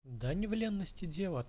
да не валентности